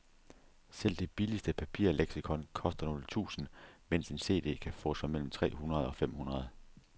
Selv det billigste papirleksikon koster nogle tusinde, mens en cd kan fås for mellem tre hundrede og fem hundrede.